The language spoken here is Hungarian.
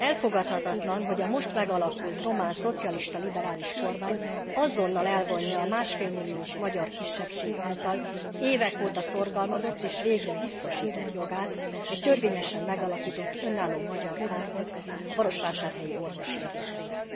Elfogadhatatlan, hogy a most megalakult román szocialista liberális kormány azonnal elvonja a 1,5 milliós magyar kisebbség által évek óta szorgalmazott és végre biztosított jogát egy törvényesen megalakított önálló magyar karhoz a marosvásárhelyi orvosi egyetemen.